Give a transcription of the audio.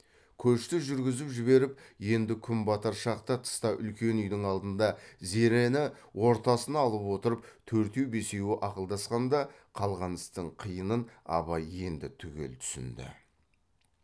көшті жүргізіп жіберіп енді күн батар шақта тыста үлкен үйдің алдында зерені ортасына алып отырып төртеу бесеуі ақылдасқанда қалған істің қиынын абай енді түгел түсінді